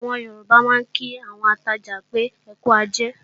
Àwọn Yorùbá máa ń kí àwọn atajà pé, "ẹkú ajé"